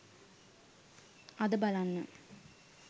අද බලන්න